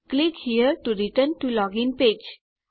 click here to return to login page